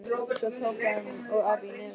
Svo tóku hann og afi í nefið.